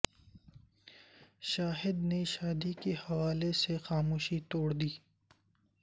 شاہد نے شاد ی کے حوالے سے خاموشی توڑ دی